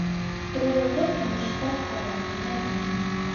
трое в лодке не считая собаки найди